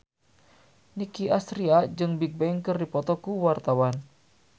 Nicky Astria jeung Bigbang keur dipoto ku wartawan